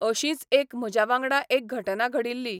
अशींच एक म्हज्या वांगडा एक घटना घडिल्ली.